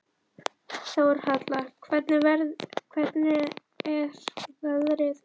Þórhalla, hvernig er veðrið úti?